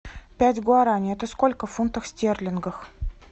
пять гуараней это сколько фунтов стерлингов